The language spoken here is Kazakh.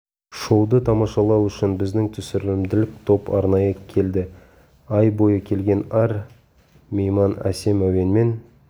шоуды тамашалау үшін біздің түсірілімдік топ арнайы келді ай бойы келген әр мейман әсем әуенмен